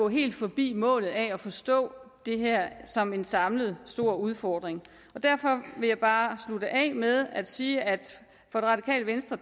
helt forbi målet altså at forstå det her som en samlet stor udfordring derfor vil jeg bare slutte af med at sige at det radikale venstre